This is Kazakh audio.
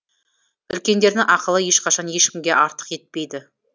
үлкендердің ақылы ешқашан ешкімге артық етпейді